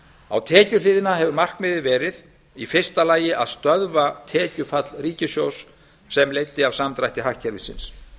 á tekjuhliðinni hefur markmiðið verið í fyrsta lagi að stöðva tekjufall ríkissjóðs sem leiddi af samdrætti hagkerfisins